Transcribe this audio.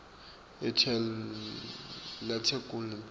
letekulima